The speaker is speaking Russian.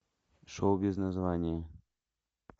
шоу без названия